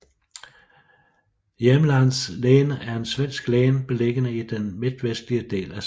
Jämtlands län er et svensk län beliggende i den midtvestlige del af Sverige